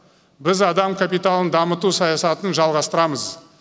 біз адам капиталын дамыту саясатын жалғастырамыз